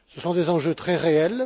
Ce sont des enjeux très réels.